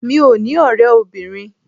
Mí ò ní ọ̀rẹ́ obìnrin.